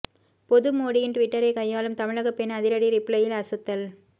பொது மோடியின் டுவிட்டரை கையாளும் தமிழகப் பெண் அதிரடி ரிப்ளையில் அசத்தல்